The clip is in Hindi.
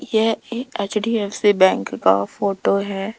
यह एक एच_डी_एफ_सी बैंक का फोटो है।